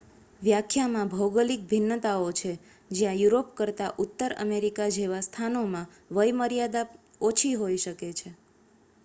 વ્યાખ્યામાં ભૌગોલિક ભિન્નતાઓ છે જ્યાં યુરોપ કરતાં ઉત્તર અમેરિકા જેવા સ્થાનોમાં વય મર્યાદા ઓછી હોઈ શકે છે